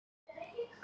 En ók.